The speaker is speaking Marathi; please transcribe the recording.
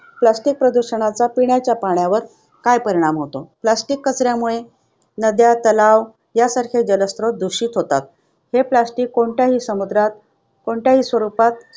Plastic प्रदूषणाचा पिण्याच्या पाण्यावर काय परिणाम होतो? Plastic कचऱ्यामुळे नद्या, तलाव आणि तलाव यांसारखे जलस्रोत दूषित होतात. हे plastic कोणत्याही समुद्रात स्वरूपात